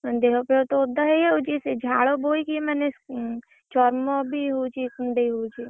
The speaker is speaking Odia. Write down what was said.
ମାନେ ଦେହ ଫେହ ତ ଓଦା ହେଇଯାଉଛି ସେଇ ଝାଳ ବୋହିକି ମାନେ ଚମବି ହଉଛି କୁଣ୍ଡେଇ ହଉଛି।